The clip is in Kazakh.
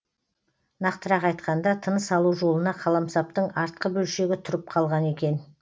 нақтырақ айтқанда тыныс алу жолына қаламсаптың артқы бөлшегі тұрып қалған екен